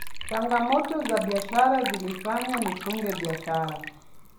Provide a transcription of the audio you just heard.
changamoto za biashara zilifanya nifunge biashara